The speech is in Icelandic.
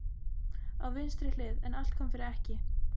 Á vinstri hlið, en allt kom fyrir ekki.